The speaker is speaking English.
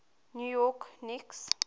new york knicks